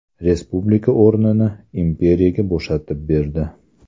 Respublika o‘rnini imperiyaga bo‘shatib berdi.